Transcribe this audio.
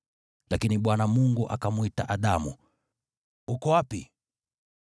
Lakini Bwana Mungu akamwita Adamu, “Uko wapi?”